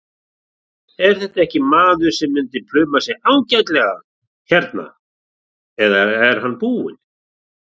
Er þetta ekki maður sem myndi pluma sig ágætlega hérna eða er hann búinn?